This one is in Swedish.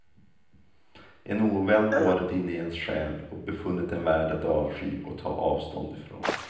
En ovän har varit inne i ens själ och befunnit den värd att avsky och ta avstånd ifrån.